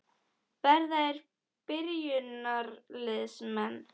Verða þeir byrjunarliðsmenn?